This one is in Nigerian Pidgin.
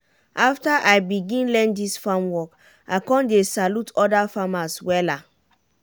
after i begin learn dis farm work i con dey salute oda farmers wella.